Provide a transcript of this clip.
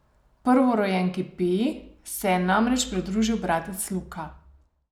Prvorojenki Piji se je namreč pridružil bratec Luka.